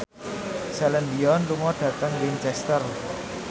Celine Dion lunga dhateng Winchester